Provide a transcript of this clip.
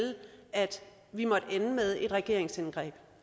at vi måtte ende med et regeringsindgreb